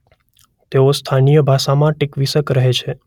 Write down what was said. તેને સ્થાનીય ભાષામાં ટીક્વીસ્ક કહે છે.